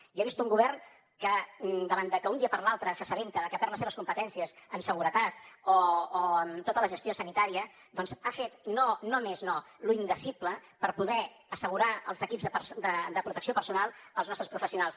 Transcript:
jo he vist un govern que davant de que d’un dia per l’altre s’assabenta de que perd les seves competències en seguretat o en tota la gestió sanitària doncs ha fet no més no lo indicible per poder assegurar els equips de protecció personal als nostres professionals